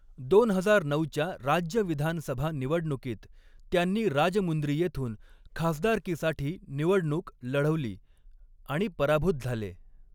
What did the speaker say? दोन हजार नऊच्या राज्य विधानसभा निवडणुकीत त्यांनी राजमुंद्री येथून खासदारकीसाठी निवडणूक लढवली आणि पराभूत झाले.